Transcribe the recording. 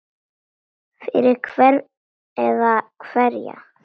Fyrir hvern eða hverja?